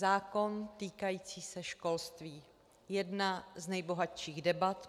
Zákon týkající se školství, jedna z nejbohatších debat.